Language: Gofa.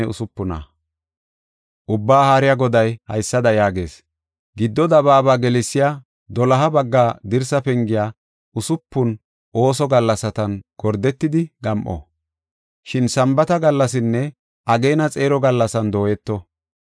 Ubbaa Haariya Goday haysada yaagees: “Giddo dabaaba gelsiya doloha bagga dirsa pengey usupun ooso gallasatan gordetidi gam7o; shin Sambaata gallasinne ageena xeero gallasan dooyeto.